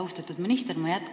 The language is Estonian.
Austatud minister!